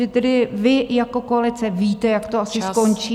Že tedy vy jako koalice víte, jak to asi skončí.